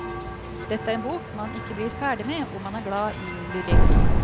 Dette er en bok man ikke blir ferdig med om man er glad i lyrikk.